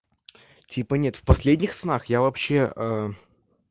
типа нет в последних снах я вообще